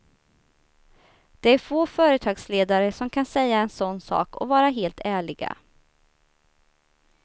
Det är få företagsledare som kan säga en sån sak och vara helt ärliga.